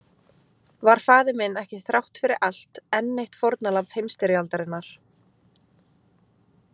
Var faðir minn ekki þrátt fyrir allt enn eitt fórnarlamb heimsstyrjaldarinnar?